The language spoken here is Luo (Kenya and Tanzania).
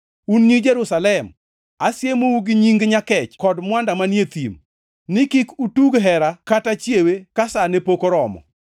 Un nyi Jerusalem, asiemou gi nying nyakech kod mwanda manie e thim, ni kik utug hera kata chiewe ka sa ne pok oromo.